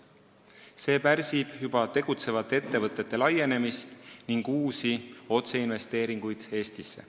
See pärsib juba tegutsevate ettevõtjate laienemist ning uusi otseinvesteeringuid Eestisse.